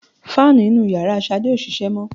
Fáànù inú yàrá Ṣàdé ò ṣiṣẹ́ mọ́